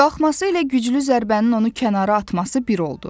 Qalxması ilə güclü zərbənin onu kənara atması bir oldu.